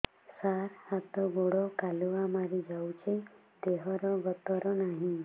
ସାର ହାତ ଗୋଡ଼ କାଲୁଆ ମାରି ଯାଉଛି ଦେହର ଗତର ନାହିଁ